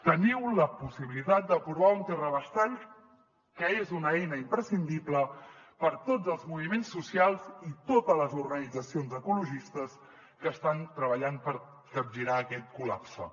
teniu la possibilitat d’aprovar un terrabastall que és una eina imprescindible per a tots els moviments socials i totes les organitzacions ecologistes que estan treballant per capgirar aquest col·lapse